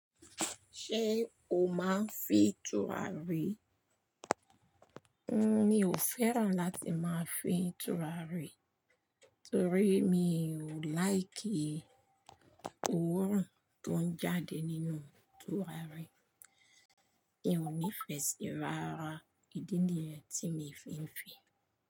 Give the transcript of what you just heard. Ṣé o máa ń fín túràrí? Mi ò fẹ́ràn láti máa fín túràrí, torí mi ò like òórùn tó ń jáde nínú túràrí. Mi ò ní ìfẹ́sí rárá, ìdí nìyí tí mo fi ń fín.